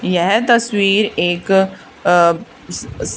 यह तस्वीर एक अ स स--